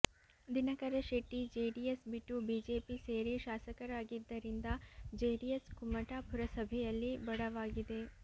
Dinakara Shetty JDS ಬಿಟ್ಟು BJP ಸೇರಿ ಶಾಸಕರಾಗಿದ್ದರಿಂದ ಜೆಡಿಎಸ್ ಕುಮಟಾ ಪುರಸಭೆಯಲ್ಲಿ ಬಡವಾಗಿದೆ